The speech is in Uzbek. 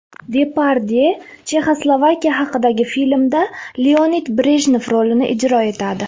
Depardye Chexoslovakiya haqidagi filmda Leonid Brejnev rolini ijro etadi.